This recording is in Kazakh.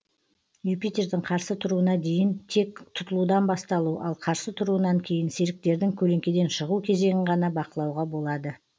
юпитердің қарсы тұруына дейін тек тұтылудың басталу ал қарсы тұруынан кейін серіктердің көлеңкеден шығу кезеңін ғана бақылауға болады